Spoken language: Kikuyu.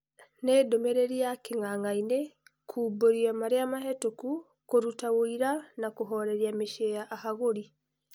" Nĩ ndũmĩrĩri ya king'ang'ainĩ, kumbũria marĩa Mahetũkũ, kũruta ũira na kũhoreria mĩciĩ ya ahagũri."